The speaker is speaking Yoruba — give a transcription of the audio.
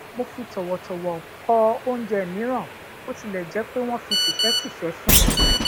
mo fi tòwòtòwò kò ounje miiran bó tilè jé pé wón fi tìfétìfé fún mi